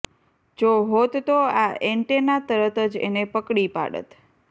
જો હોત તો આ ઍન્ટેના તરત જ એને પકડી પાડત